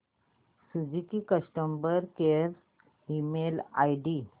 Suzuki customer care email ID